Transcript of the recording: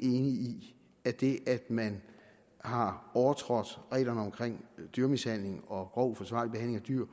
i at det at man har overtrådt reglerne omkring dyremishandling og grov uforsvarlig behandling af dyr